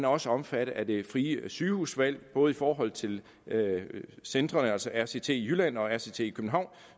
også omfattet af det frie sygehusvalg både i forhold til centrene altså rct i jylland og rct i københavn